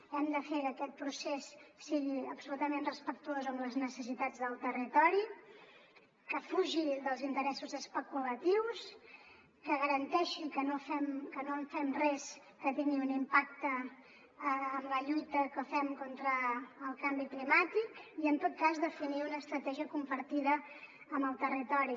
hem de fer que aquest procés sigui absolutament respectuós amb les necessitats del territori que fugi dels interessos especulatius que garanteixi que no fem res que tingui un impacte en la lluita que fem contra el canvi climàtic i en tot cas definir una estratègia compartida amb el territori